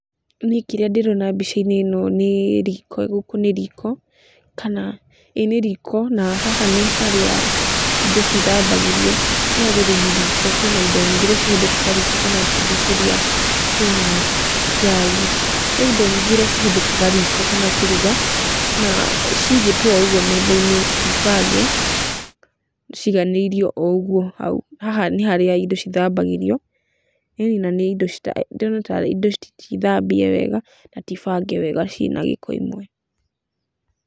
Niĩ kĩrĩa ndĩrona mbica-inĩ ĩno nĩ riko, kana, ĩ nĩ riko na haha nĩ harĩa indo cithambagĩrio, no rĩrĩ nĩ riko. Kwina indo nyingĩ nĩ cihũthikaga riko, kwĩna tũthuburia, kwĩna njagi, kwĩna indo nyingĩ iria cihũthĩkaga riko kana kũruga na ciigĩtwo o ũguo metha-inĩ ti bange, ciiganĩrio o ũguo hau. Haha nĩ harĩa indo cithambagĩrio, ĩni, na nĩ indo , ndirona tarĩ indo ti thambie wega ta ti bange wega cina gĩko imwe.